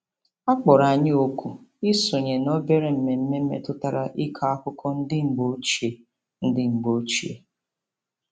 A kpọrọ anyị oku isonye n’obere mmemme metụtara ịkọ akụkọ ndị mgbe ochie. ndị mgbe ochie.